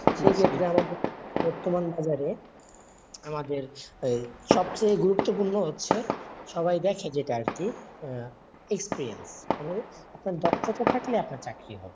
সে বর্তমান বাজারে আমাদের সবচেই গুরুত্বপূর্ণ হচ্ছে, সবাই দেখে যেটা আর কি, আহ experience মানে আপনার দক্ষতা থাকলে আপনার চাকরি হবে,